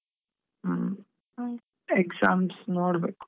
Exams ನೋಡ್ಬೇಕ್.